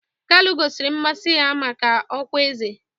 Kalu gosiri mmasị ya maka ọkwá eze